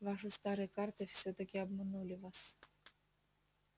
ваши старые карты всё-таки обманули вас